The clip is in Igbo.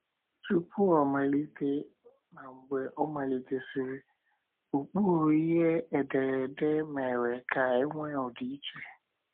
Tupu ọ malite na mgbe ọ malitesịrị, Ụkpụrụ ihe ederede mere ka enwee ọdịiche.